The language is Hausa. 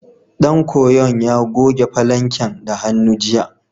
Ɗan koyon ya goge falanken da hannu, jiya.